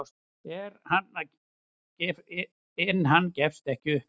En hann gefst ekki upp.